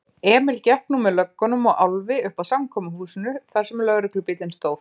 Emil gekk nú með löggunum og Álfi uppað samkomuhúsinu þarsem lögreglubíllinn stóð.